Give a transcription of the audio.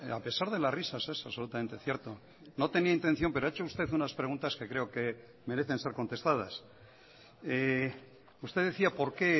a pesar de las risas es absolutamente cierto no tenía intención pero ha hecho usted unas preguntas que creo que merecen ser contestadas usted decía por qué